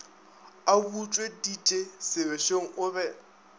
a butšweditše sebešong o be